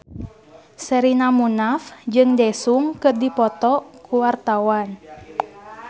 Sherina Munaf jeung Daesung keur dipoto ku wartawan